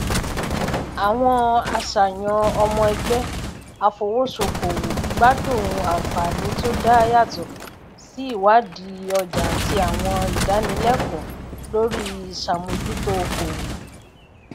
àwọn aṣayan ọmọ ẹgbẹ afowosokòwò gbádùn ànfààní tó dá yàtọ sí ìwádìí ọjà àti àwọn ìdánilẹkọọ lórí ìṣàmójútó okòwò